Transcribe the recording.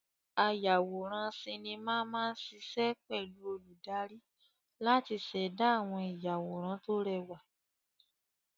Ayàwòrán sinimá máa ṣiṣẹ́ pẹ̀lú olùdarí láti ṣẹ̀dá àwọn ìyàwòrán tó rẹwà.